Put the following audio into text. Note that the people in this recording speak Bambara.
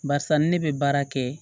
Barisa ni ne bɛ baara kɛ